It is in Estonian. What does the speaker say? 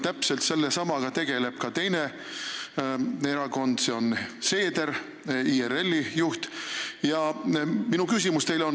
Täpselt sellesamaga tegeleb ka teine erakond, see on IRL ja selle juht Seeder.